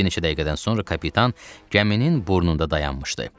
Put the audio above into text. Bir neçə dəqiqədən sonra kapitan gəminin burnunda dayanmışdı.